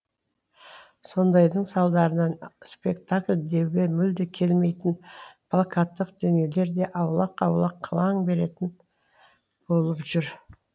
сондайдың салдарынан спектакль деуге мүлде келмейтін плакаттық дүниелер де аулақ аулақ қылаң беретін болып жүр